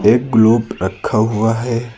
एक ग्लोब रखा हुआ है।